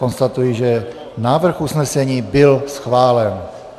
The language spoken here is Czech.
Konstatuji, že návrh usnesení byl schválen.